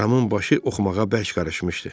Ramın başı oxumağa bərk qarışmışdı.